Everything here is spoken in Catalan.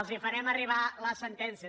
els farem arribar la sentència